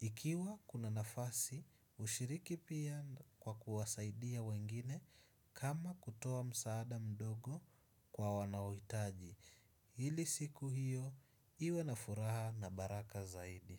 Ikiwa kuna nafasi, hushiriki pia kwa kuwasaidia wengine kama kutoa msaada mdogo kwa wanaohitaji. Ili siku hiyo, iwe na furaha na baraka zaidi.